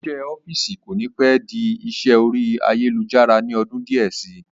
Isẹ́ ọ́fìsì kò ní pẹ́ di isẹ́ orí ayélujára ní ọdún díẹ̀ sí